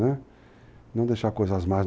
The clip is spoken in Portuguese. né, não deixar coisas más.